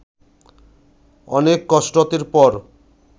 অনেক কসরতের পর